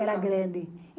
Era grande.